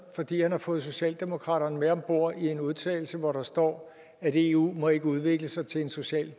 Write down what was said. fordi han har fået socialdemokratiet med om bord i en udtalelse hvor der står at eu ikke må udvikle sig til en social